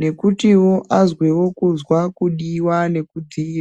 nekuti wo azwewo kuzwa kudiwa neku dhi.